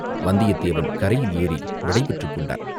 வந்தியத்தேவன் கரையில் ஏறி விடை பெற்றுக்கொண்டான்.